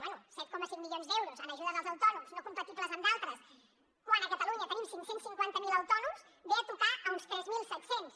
bé set coma cinc milions d’euros en ajudes als autònoms no compatibles amb d’altres quan a catalunya tenim cinc cents i cinquanta miler autònoms ve a tocar a uns tres mil set cents